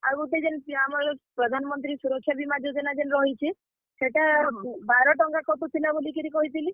ଆଉ ଗୁଟେ ଜେନ୍ ସେ ଆମର୍, ପ୍ରାଧାନ୍ ମନ୍ତ୍ରୀ ସୁରକ୍ଷା ବୀମା ଯୋଜନା ଜେନ୍ ରହିଛେ, ସେଟା, ବାର ଟଙ୍କା କଟୁଥିଲା ବଲିକିରି କହିଥିଲି।